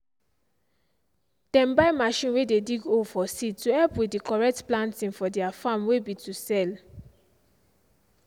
dem buy machine way dey dig hole for seed to help with the correct planting for their farm way be to sell.